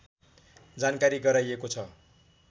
जानकारी गराइएको छ